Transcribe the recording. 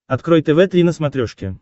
открой тв три на смотрешке